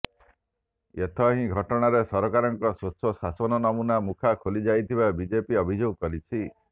ଏଥହି ଘଟଣାରେ ସରକାରଙ୍କର ସ୍ୱଚ୍ଛ ଶାସନ ନମୁନା ମୁଖା ଖୋଲି ଯାଇଥିବା ବିଜେପି ଅଭିଯୋଗ କରିଛି